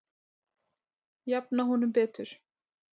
Jafna honum betur